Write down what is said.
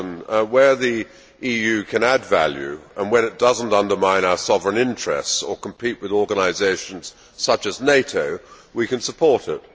Mr President, where the EU can add value, and when it does not undermine our sovereign interests or compete with organisations such as NATO, we can support it.